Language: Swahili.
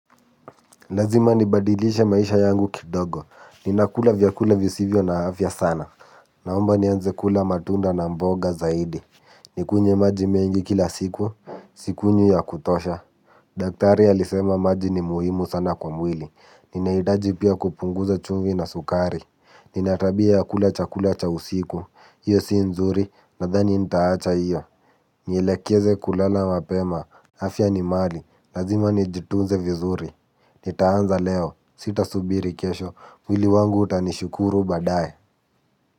Lazima nibadilishe maisha yangu kidogo. Ninakula vyakula visivyo na afya sana. Naomba nianze kula matunda na mboga zaidi. Nikunywe maji mengi kila siku. Sikunywi ya kutosha. Daktari alisema maji ni muhimu sana kwa mwili, ninahitaji pia kupunguza chumvi na sukari, nina tabia ya kula chakula cha usiku, hiyo si nzuri, nadhani nitaacha hiyo, nielekeze kulala mapema, afya ni mali, lazima nijitunze vizuri, nitaanza leo, sitasubiri kesho, mwili wangu utanishukuru baadaye.